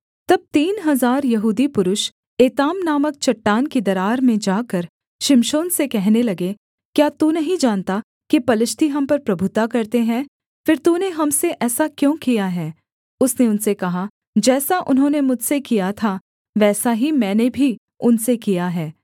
तब तीन हजार यहूदी पुरुष एताम नामक चट्टान की दरार में जाकर शिमशोन से कहने लगे क्या तू नहीं जानता कि पलिश्ती हम पर प्रभुता करते हैं फिर तूने हम से ऐसा क्यों किया है उसने उनसे कहा जैसा उन्होंने मुझसे किया था वैसा ही मैंने भी उनसे किया है